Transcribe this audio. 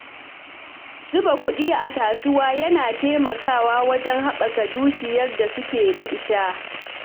Zuba kuɗi a kasuwa yana taimakawa wajen haɓaka dukiyar da suke da ita.